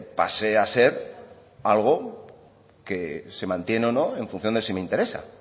pase a ser algo que se mantiene o no en función de si me interesa